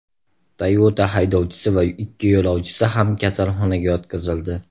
Toyota haydovchisi va ikki yo‘lovchisi ham kasalxonaga yotqizildi.